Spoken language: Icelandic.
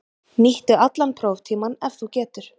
Nýttu allan próftímann ef þú getur.